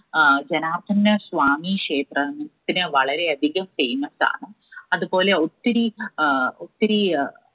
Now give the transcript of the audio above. ആഹ് ജനാർദന സ്വാമീ ക്ഷേത്രത്തിന് വളരെയധികം famous ആണ്. അതുപോലെ ഒത്തിരി ആഹ് ഒത്തിര അഹ്